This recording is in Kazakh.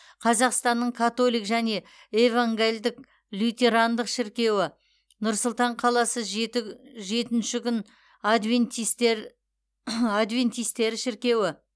қазақстанның католик және евангалдік лютерандық шіркеуі нұр сұлтан қаласы жеті жетінші күн адвентистер адвентистері шіркеуі